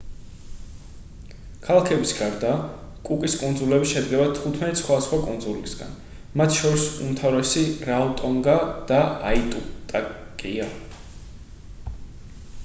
ქალაქების გარდა კუკის კუნძულები შედგება 15 სხვადასხვა კუნძულისგან მათ შორის უმთავრესი რაოტონგა და აიტუტაკია